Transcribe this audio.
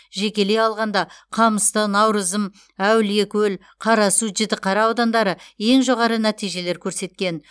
жекелей алғанда қамысты науырзым әулиекөл қарасу жітіқара аудандары ең жоғары нәтижелер көрсеткен